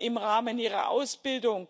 im Rahmen ihrer Ausbildung